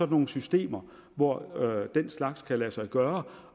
nogle systemer hvor den slags kan lade sig gøre